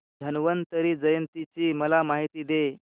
धन्वंतरी जयंती ची मला माहिती दे